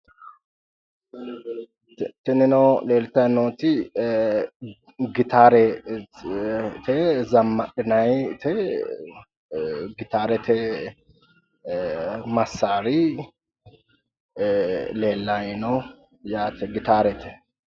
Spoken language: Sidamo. Tinino leeltayiinoti gitaarete zammadhinayiite gitaarete massaari leellayi no yaate gitaarete.